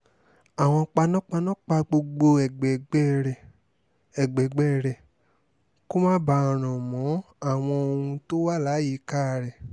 àwọn panápaná pa gbogbo ẹgbẹẹgbẹ́ rẹ́ ẹgbẹẹgbẹ́ rẹ́ kó máa bá ràn mọ́ àwọn ohun tó wà láyìíká rẹ̀